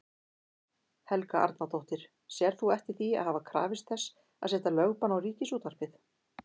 Helga Arnardóttir: Sérð þú eftir því að hafa krafist þess að setja lögbann á Ríkisútvarpið?